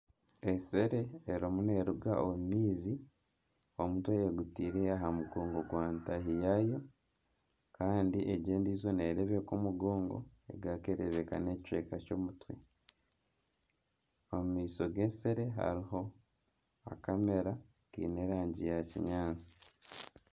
Ensere erimu neeruga omu maizi omutwe eguteire aha mugongo gwa ntaahi yaayo kandi egi endiijo nereebeka omugongo egaruka ereebeka nana ekicweka ky'omutwe, omu maisho g'ensere hariho akamera kaine erangi ya kinyaatsi.